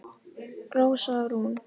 Rósa Rún